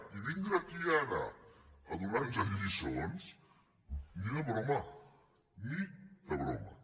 i vindre aquí ara a donar nos lliçons ni de broma ni de broma